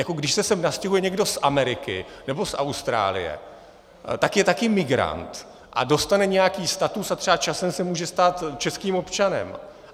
Jako když se sem nastěhuje někdo z Ameriky nebo z Austrálie, tak je taky migrant a dostane nějaký status a třeba časem se může stát českým občanem.